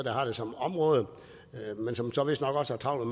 har det som område men som så vistnok også har travlt